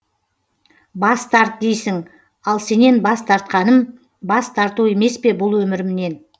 бас тарт дейсің ал сенен бас тартқаным бас тарту емеспе бұл өмірімнен